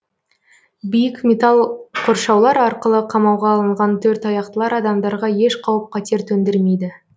биік металл қоршаулар арқылы қамауға алынған төрт аяқтылар адамдарға еш қауіп қатер төндірмейді